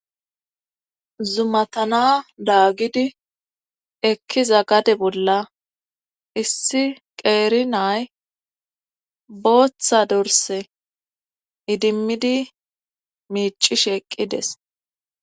Zumatana daagidi ekkiza gade bolla issi qeerinay booththa dorse idimmidi miicish eqqides.